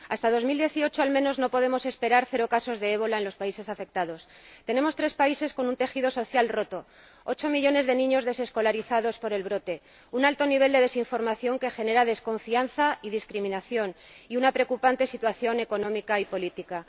Hasta 2018, al menos, no podemos esperar cero casos de ébola en los países afectados. Tenemos tres países con un tejido social roto, ocho millones de niños desescolarizados por el brote, un alto nivel de desinformación que genera desconfianza y discriminación, y una preocupante situación económica y política.